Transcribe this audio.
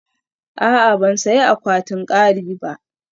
A'a, ban sayi akwatin kari ba